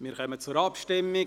Wir kommen zur Abstimmung.